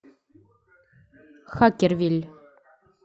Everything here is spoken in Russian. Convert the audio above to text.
хакервилль